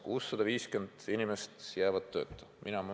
650 inimest pidi tööta jääma.